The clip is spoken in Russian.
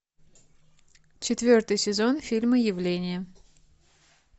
четвертый сезон фильма явление